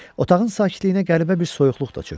Otağın sakitliyinə qəribə bir soyuqluq da çökdü.